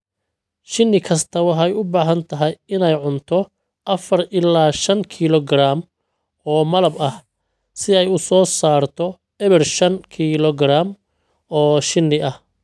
Shinni kasta waxay u baahan tahay inay cunto afar ilaa shan kiiloogaraam oo malab ah si ay u soo saarto eber shan kiiloogaraam oo shinni ah.